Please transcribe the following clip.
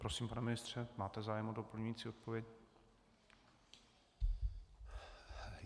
Prosím, pane ministře, máte zájem o doplňující odpověď?